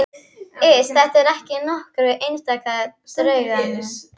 Iss, þetta er ekki nokkur einasti draugagangur.